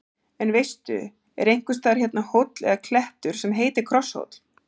En veistu, er einhvers staðar hérna hóll eða klettur sem heitir Krosshóll?